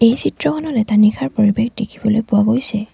এই চিত্ৰখনত এটা নিশাৰ পৰিৱেশ দেখিবলৈ পোৱা গৈছে।